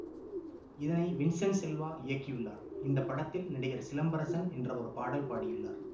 இதனை வின்சென்ட் செல்வா இயக்கியுள்ளார் இந்த படத்தில் நடிகர் சிலம்பரசன் என்ற ஒரு பாடல் பாடியுள்ளார்